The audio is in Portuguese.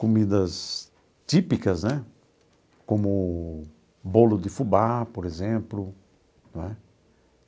Comidas típicas né, como bolo de fubá, por exemplo, não é?.